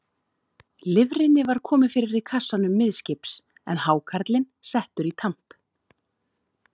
Lifrinni var komið fyrir í kassanum miðskips, en hákarlinn settur í tamp.